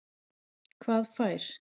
Hvað fær